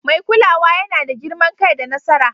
Mai kulawa yana da girman kai da nasara.